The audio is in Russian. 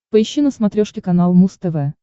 поищи на смотрешке канал муз тв